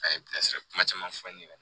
A ye bilasirali kuma caman fɔ n ɲɛna